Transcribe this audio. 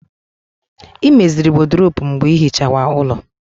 Ị meziri wọdrobu mgbe ịhichawa ulọ